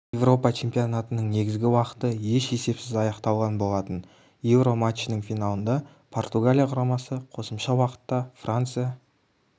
еуропа чемпионатының негізгі уақыты еш есепсіз аяқталған болатын еуро матчының финалында португалия құрамасы қосымша уақытта франция